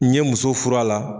N ye muso fur'a la